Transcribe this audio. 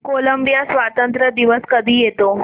Colombia स्वातंत्र्य दिवस कधी येतो